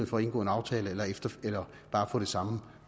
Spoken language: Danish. for at indgå en aftale eller bare få det samme